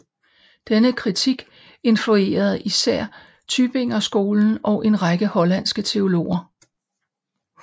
Denne kritik influerede især Tübingerskolen og en række hollandske teologer